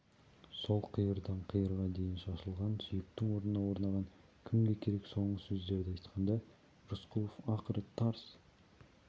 сол қиырдан қиырға дейін шашылған сүйектің орнына орнаған кімге керек соңғы сөздерді айтқанда рысқұлов ақыры тарс